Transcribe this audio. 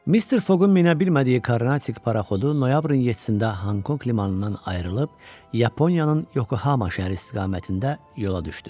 Mister Foqun minə bilmədiyi Karnatik paraxodu noyabrın 7-də Honkonq limanından ayrılıb Yaponiyanın Yokohama şəhəri istiqamətində yola düşdü.